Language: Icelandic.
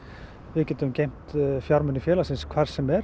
við getum geymt fjármuni félagsins hvar sem er